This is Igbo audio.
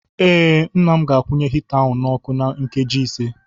Ee, Nna m ga-akwunye hita ahụ n'ọkụ na nkeji ise.